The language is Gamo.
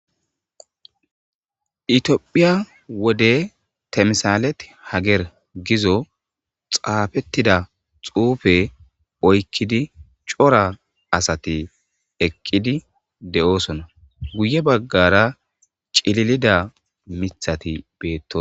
Itiophiya wode temsaalet hager gizo xaafettida xuufe oykkidi cora asati eqqidi de7oosona guye baggara cililida mithati beettos